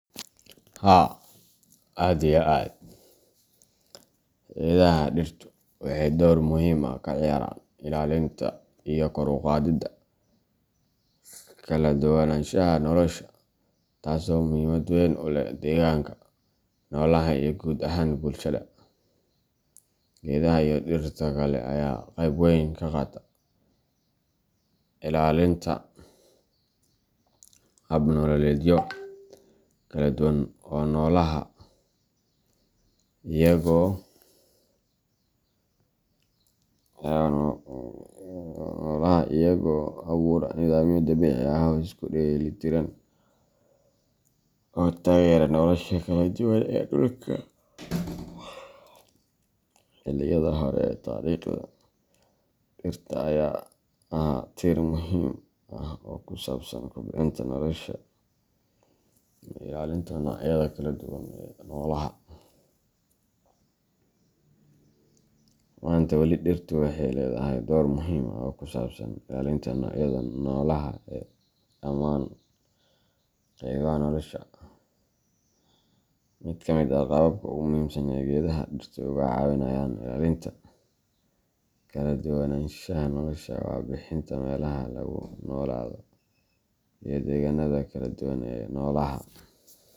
Haa aad iyo aad ,Geedaha dhirtu waxay door muhiim ah ka ciyaaraan ilaalinta iyo kor u qaadida kaladuwananshaha nolosha, taasoo muhiimad weyn u leh deegaanka, noolaha, iyo guud ahaan bulshada. Geedaha iyo dhirta kale ayaa qayb weyn ka qaata ilaalinta hab nololeedyo kala duwan oo noolaha, iyagoo abuura nidaamyo dabiici ah oo isku dheelitiran oo taageera nolosha kala duwan ee dhulka. Xilliyada hore ee taariikhda, dhirta ayaa ahaa tiir muhiim ah oo ku saabsan kobcinta nolosha iyo ilaalinta noocyada kala duwan ee noolaha. Maanta, weli dhirtu waxay leedahay door muhiim ah oo ku saabsan ilaalinta noocyada noolaha ee dhammaan qaybaha nolosha. Mid ka mid ah qaababka ugu muhiimsan ee geedaha dhirtu uga caawinayaan ilaalinta kaladuwananshaha nolosha waa bixinta meelaha lagu noolaado iyo deegaanada kala duwan ee noolaha.